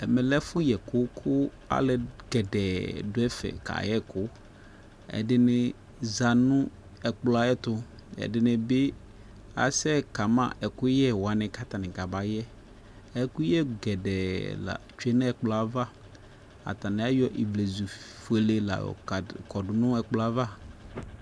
Ɛmɛ lɛ ɛfu yɛku ku alu poo du ɛfɛ kayɛ ɛku ɛdini za nu ɛkplɔ yɛ ɛtu ɛdini bi asɛ kama ɛkuyɛ wani ku atani kabayɛ ɛkuyɛ poo la tsue nu ɛkplɔ yɛ ava Atani ayɔ ɔvlɛ fuele la yɔ kɔdu nu ɛkplɔ yɛ ava